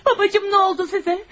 Babacım nə oldu sizə?